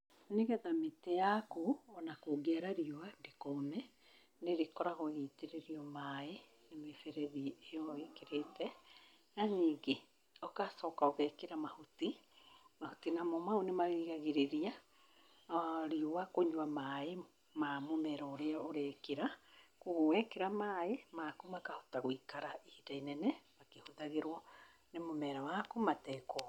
Nĩgetha mĩtĩ yaku onakũngĩara riũa ndĩkome, nĩrĩkoragwo ĩgĩitĩrĩrio maĩ na mĩberethi ĩo ĩkĩrĩte. Na nyingi ũkacoka ũgekĩra mahuti. Mahuti namo mau nĩmarĩgiragĩrĩria riũa kũnyua maĩ ma mũmera ũrĩa ũrekĩra. Kuogwo wekĩra maĩ maku makahota gũikara ihinda inene makĩhũthagĩrwo nĩ mũmera waku matekũma.